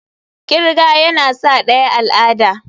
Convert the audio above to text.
kirga yana sa daya al'ada.